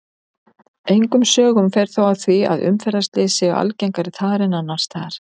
Engum sögum fer þó af því að umferðarslys séu algengari þar en annars staðar.